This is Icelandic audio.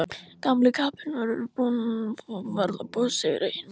Gamli kappinn bara að verða boss yfir eigin búð.